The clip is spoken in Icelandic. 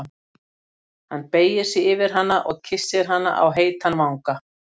Hann beygir sig yfir hana og kyssir hana á heitan vanga.